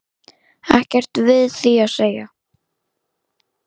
Ekkert við því að segja.